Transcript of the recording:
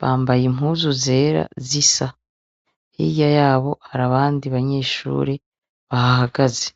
bambaye impuzu zera zisa. Hirya yabo hari abandi banyeshure bahahagaze.